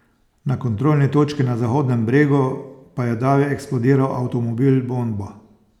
Na kontrolni točki na Zahodnem Bregu pa je davi eksplodiral avtomobil bomba.